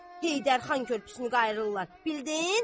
Heydər xan körpüsünü qayrırlar, bildin?